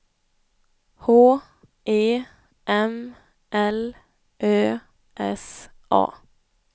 H E M L Ö S A